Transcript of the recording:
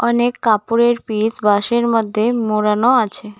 অনেক কাপড়ের পিস বাঁশের মধ্যে মোড়ানো আছে।